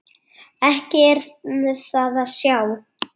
Ekki er það að sjá.